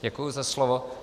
Děkuji za slovo.